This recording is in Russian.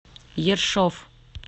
ершов